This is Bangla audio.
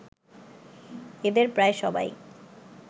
এদের প্রায় সবাই